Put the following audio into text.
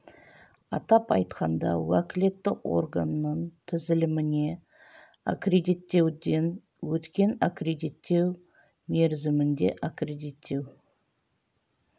атап айтқанда уәкілетті органның тізіліміне енгізілген агенттіктерде институционалдық және арнайы аккредиттеуден өткен аккредиттеу мерзімінде аккредиттеу